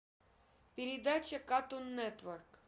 передача катун нетворк